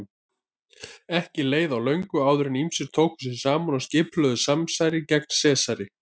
Ekki leið á löngu áður en ýmsir tóku sig saman og skipulögðu samsæri gegn Sesari.